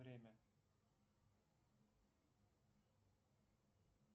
время